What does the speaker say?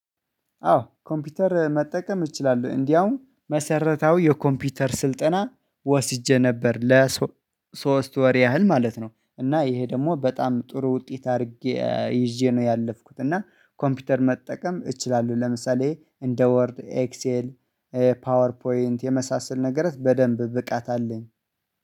አዎ ኮምፒውተር መጠቀም እችላለሁ። እንዲያውም መሰረታዊ የኮምፒውተር ስልጠና ወስጄ ነበር ለ ሶስት ወር ያህል ማለት ነው። እና ይሄ ደግሞ በጣም ጥሩ ውጤት አድርጌ ይዤ ነው ያለፍኩት። እና ኮምፒውተር መጠቀም እችላለሁ። ለምሳሌ እንደ ወርድ ኤክሴል ፓወር ፖይንት የመሳሰል ነገር በደንብ ብቃት አለኝ